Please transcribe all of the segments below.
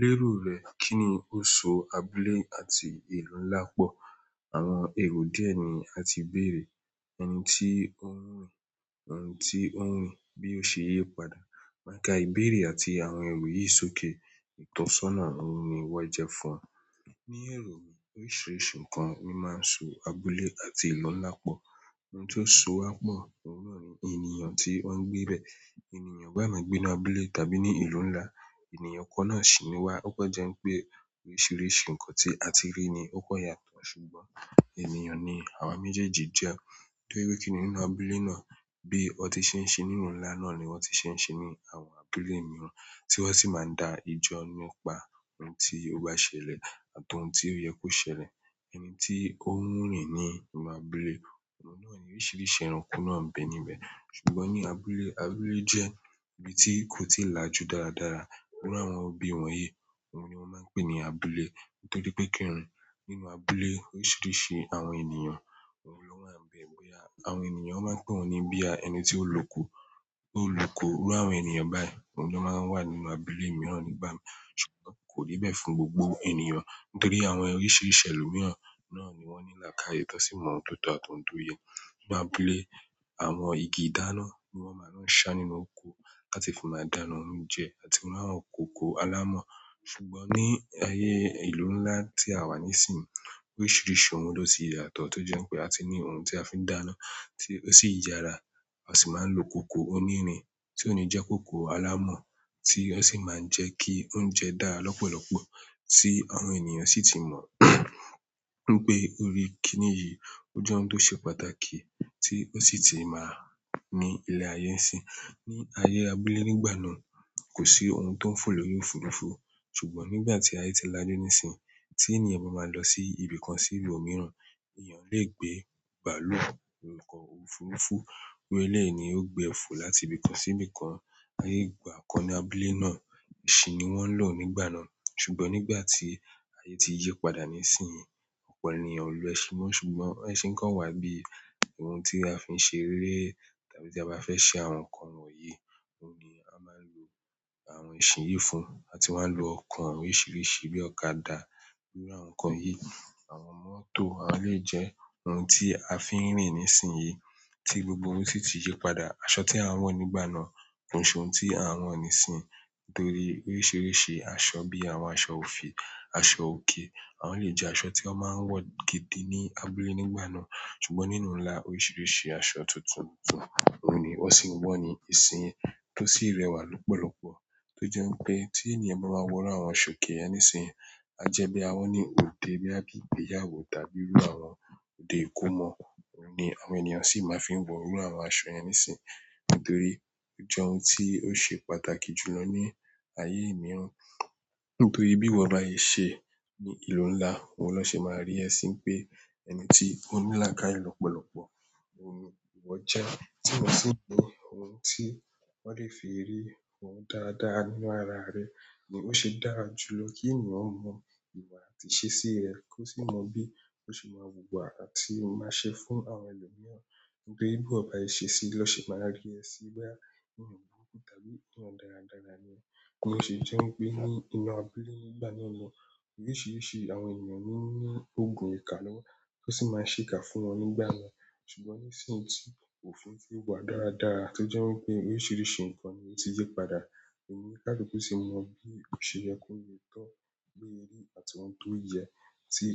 Le ro rẹ kini o so abúlé àti ìlú ńlá pọ. Àwọn èrò dí ẹ ni a ti bèèrè. Ẹni tí ó wù ú rìn, òhun tí ó wù ú bí ó ṣe yí padà. Ma ka ìbéèrè àti àwọn eero yi sókè. Ìtọ́sọ́nà ọ̀hun ni wọ́n jẹ́ fún e. Ní èrò mi, oríṣiríṣi nǹkan ni ó máa ń so abúlé àti ìlú ńlá pọ̀. Ohun tó so wá pọ̀, òun náà ni ènìyàn tí wọ́n ń gbe bẹ̀. Ènìyàn bá ma gbé ní abúlé tàbí ní ìlú ńlá, ènìyàn kan náà sì ni wá. Ó pẹ́ jẹ́ pé oríṣiríṣi nǹkan tí a ti rí ni ó kó yàtọ̀, ṣùgbọ́n ènìyàn ni àwa méjèèjì jẹ́. Torí pé kí nì nínú abúlé náà, bí wọ́n ti ṣe ń ṣe nínú ìlú ńlá náà ni wọ́n ti ṣe ń ṣe ní àwọn abúlé mìíràn, tí wọ́n sì máa ń dá ejo nípa ohun tí ó bá ṣẹlẹ̀ àtọ̀ ohun tí ó yẹ kó ṣẹlẹ̀. Ẹni tí ó wù ú rìn ní inú abúlé, ọ̀run náà ni oríṣiríṣi ẹranko náà ń bẹ níbẹ̀. Ṣùgbọ́n ní abúlé, abúlé jẹ́ ibi tí kò ti là jù dáradára. Iru àwọn ibí wọ̀nyí, òun ni wọ́n máa ń pè ní abúlé. Nítorí pé kíni nínú abúlé oríṣiríṣi àwọn ènìyàn, òun ló wà ń bẹ. Bóyá àwọn ènìyàn wọ́n máa pè ọ̀un ní bíi ẹni tí ó lù ko, tó lù ko iru àwọn ènìyàn báyìí, òun jọ máa wà nínú abúlé mìíràn nígbà mìíràn. Ṣùgbọ́n kò rí bẹ́ẹ̀ fún gbogbo ènìyàn, nítorí àwọn oríṣiríṣi ẹlòmíràn náà ni wọ́n ní lakaaye tan sì mọ̀ ọ́n tó tọ́ àti ouń to yẹ. Ní abúlé, àwọn igi ìdáná ni wọ́n máa ń sá nínú òko láti fi máa dáná oúnjẹ àti ohun àwọn kòkò alámọ̀. Ṣùgbọ́n ní ayé ìlú ńlá tí a wà nísìnyí, oríṣiríṣi ohun ló ti yàtọ̀ tó jẹ́ pé a ti ní ohun tí a fi ń dáná tí ó sì yára. Asi maa n lo koko onirin, ti o ni je koko alamo, ti o si maa n je ki oúnjẹ dára lopolopo ti àwọn ènìyàn si ti mo wípé iru kini yìí o je ohun to se pàtàkì ti o si ti maa ni ile ààyè n sin ní ayé abúlé nígbà náà, kò sí ohun tó ń fò lórí òfurufú, ṣùgbọ́n nígbà tí ayé ti là jù nísìnyí, tí ènìyàn bá máa lọ sí ibi kan sí ìlú mìíràn, èèyàn lè gbé bàálù, nǹkan òfurufú, orí ilẹ̀ ni ó gbe fò láti ibi kan sí ibi kan. Aye igbakan ni abúlé na, esin ni won n lo nígbà náà, ṣùgbọ́n nígbà ti aye ti yípadà nisinyi opo ènìyàn o lo esin mo, ṣùgbọ́n esin kan wa bíi ohun ti a fi n ṣeré, tàbí ti a ba fe se àwọn nkan wọ̀nyí, oun ni a maa n lo àwọn esin yìí fún, àti wa n lo oko, oríṣiríṣi àwọn ọ̀kadà iru àwọn nkan won yi àwọn motor, àwọn eleyi je ohun ti a fi n rin nisinyi ti oun gbogbo si ti yípadà. Aṣọ tí à ń wọ̀ nígbà náà kò ṣe ohun tí à ń wọ̀ nísìnyí, nítorí oríṣiríṣi aṣọ bí i àwọn aṣọ òfì, aṣọ òke, àwọn elèyi jẹ́ aṣọ tí wọ́n máa ń wọ̀ gidi ní abúlé nígbà náà. Ṣùgbọ́n nínú ìlú ńlá oríṣiríṣi aṣọ tuntun tuntun òun ni wọ́n sì ń wọ̀ ní ìsìn tó sì rẹwà púpọ̀ tó jẹ́ pé tí ènìyàn bá máa wọ̀ irú àwọn aṣọ òkè yẹn nísìnyí, á jẹ́ bí a wọ̀ ní òde bí i ìgbéyàwó tàbí irú àwọn òde ìkómọ. Òun ni àwọn ènìyàn sì máa ń fi wọ̀ irú àwọn aṣọ yẹn nísìnyí, nítorí ó jẹ́ ohun tí ó ṣe pàtàkì jùlọ ní aye mìíràn. Nítorí bí iwo bá ṣe se ní ìlú ńlá, òun na ṣe máa rí ẹ̀ sí pé ẹni tí ó ní lakáaye lọ́pọ̀lọpọ̀, òun ni ìwọ jẹ́. Tí ó sì jẹ́ ohun tí wọ́n lè fi rí ọ́ dáadáa nínú ara rẹ ni ó ṣe dáa jùlọ kí ènìyàn mọ̀ ìwà àti ìṣesí ẹ. Kó sì mọ bí ó ṣe máa wùwà àti máa ṣe fún àwọn ẹlòmíràn. Bi eyan bá ṣe sesí i lọ́ ṣe máa rí ẹ̀ sí bí i ènìyàn kan púpọ̀ tàbí ènìyàn dáradára ni ọ́. Ó sì jẹ́ wípé ní inú abúlé nígbà náà loun, oríṣiríṣi àwọn ènìyàn ní ní ogun ìka lọ́wọ́ tó sì máa ń ṣe ìka fún wọn nígbà náà. Ṣùgbọ́n nisinyi ti òfin ti wa dáradára to je wípé oríṣiríṣi nkan ni o ti yi padà, onikaluku ti mo bi o se ye ko le to, bo ye ri àti oun to ye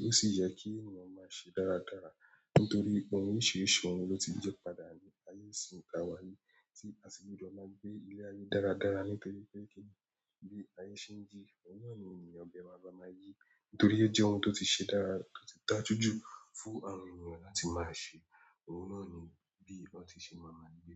osi ye ki eyan ma se dáradára nítorí pé oríṣiríṣi ohun ló ti yí padà ní ayé ìsìn ta wà yìí tí àsì gbudo máa ń gbé ilé ayé dáradára nítorí pé kí ilé ayé ṣe ń yìí òun náà ni ènìyàn de maa ba máa yí, nítorí ó jẹ́ ohun tó ti ṣe dára tó ti dáa jùjù fún àwọn ènìyàn láti máa ṣe. Òun náà ni bí wọ́n ti ṣe má maa gbé.